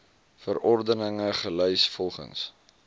verordeninge gelys volgens